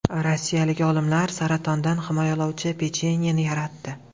Rossiyalik olimlar saratondan himoyalovchi pechenyeni yaratdi.